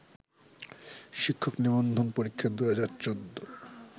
শিক্ষক নিবন্ধন পরীক্ষা ২০১৪